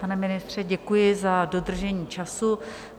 Pane ministře, děkuji za dodržení času.